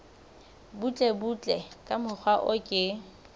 butlebutle ka mokgwa o ke